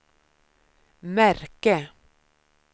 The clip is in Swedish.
märke